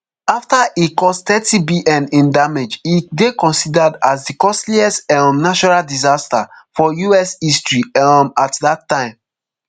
afta e cause thirtybn in damage e dey considered as di costliest um natural disaster for us history um at dat time